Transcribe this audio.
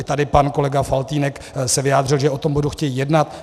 I tady pan kolega Faltýnek se vyjádřil, že o tom budou chtít jednat.